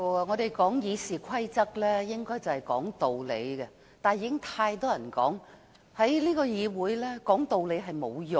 我們根據《議事規則》說道理，但正如很多人所言，在這個議會內說道理並沒有用。